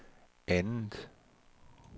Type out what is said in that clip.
andet